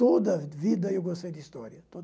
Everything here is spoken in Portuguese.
Toda a vida eu gostei de História.